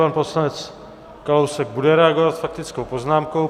Pan poslanec Kalousek bude reagovat faktickou poznámkou.